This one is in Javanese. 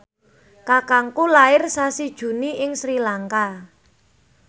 kakangku lair sasi Juni ing Sri Lanka